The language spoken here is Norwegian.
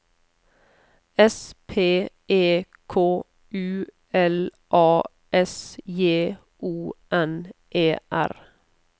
S P E K U L A S J O N E R